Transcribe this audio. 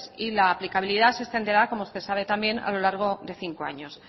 y la aplicabilidad se extenderá como usted sabe también a lo largo de cinco años